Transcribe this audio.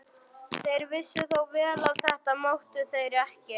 Þeir vissu þó vel að þetta máttu þeir ekki.